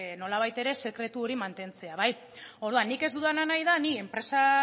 nolabait ere sekretu hori mantentzea orduan nik ez dudana nahi da ni enpresa